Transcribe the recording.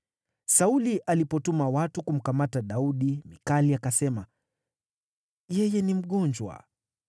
Sauli alipotuma watu kumkamata Daudi, Mikali akasema, “Yeye ni mgonjwa.”